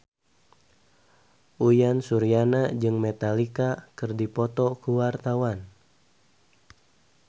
Uyan Suryana jeung Metallica keur dipoto ku wartawan